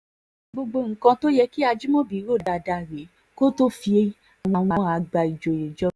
gbogbo nǹkan tó yẹ kí ajimobi rò dáadáa rèé kó tóó fi àwọn àgbà ìjòyè jọba